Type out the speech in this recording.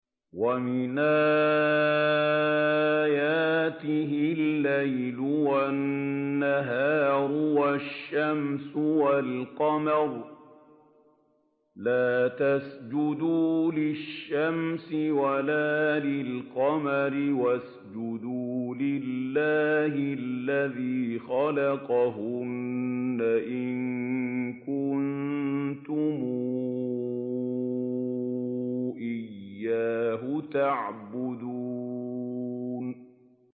وَمِنْ آيَاتِهِ اللَّيْلُ وَالنَّهَارُ وَالشَّمْسُ وَالْقَمَرُ ۚ لَا تَسْجُدُوا لِلشَّمْسِ وَلَا لِلْقَمَرِ وَاسْجُدُوا لِلَّهِ الَّذِي خَلَقَهُنَّ إِن كُنتُمْ إِيَّاهُ تَعْبُدُونَ